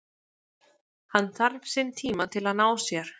Hann þarf sinn tíma til að ná sér.